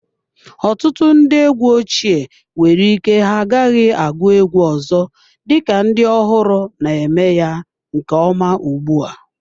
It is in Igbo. Ọtụtụ ndị egwu ochie nwere ike ha agaghị agụ egwu ọzọ, dịka ndị ọhụrụ na-eme ya nke ọma ugbu a.